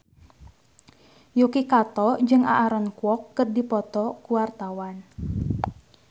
Yuki Kato jeung Aaron Kwok keur dipoto ku wartawan